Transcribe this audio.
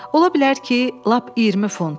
“Ola bilər ki, lap 20 funt.”